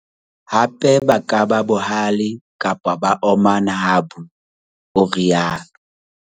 "Hape ba ka ba bohale kapa ba omana ha bua," o rialo.